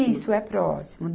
Isso é próximo.